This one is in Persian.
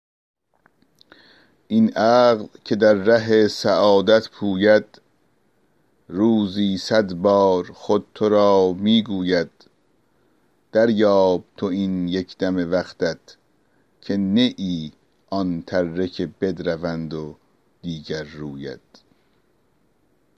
این عقل که در ره سعادت پوید روزی صد بار خود تو را می گوید دریاب تو این یک دم وقتت که نه ای آن تره که بدروند و دیگر روید